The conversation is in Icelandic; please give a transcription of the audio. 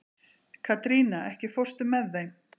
Katrína, ekki fórstu með þeim?